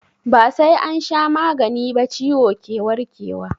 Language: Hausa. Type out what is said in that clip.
Ba sai an sha magani ba ciwo ke warke wa.